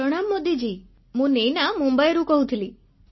ପ୍ରଣାମ ମୋଦିଜୀ ମୁଁ ନୈନା ମୁମ୍ବାଇରୁ କହୁଛି